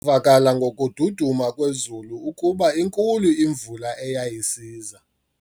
vakala ngokududuma kwezulu ukuba inkulu imvula eyayisiza.